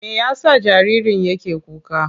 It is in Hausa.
Me ya sa jaririn yake kuka?